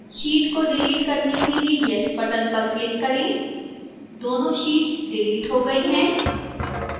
sheet को delete करने के लिए yes button पर click करें दोनों sheets डिलीट हो गई हैं